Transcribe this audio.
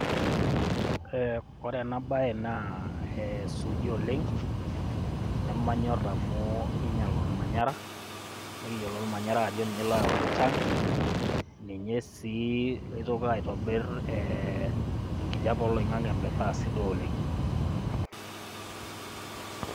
Ee ore ena baye naa suuji oleng' nemanyorr amu kiinyial ormanyara nikiyiolo ormanyarra ajo ninye oyau enchan ee enkijiape oloing'ang'e metaa sidai oleng'